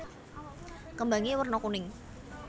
Kembangé werna kuning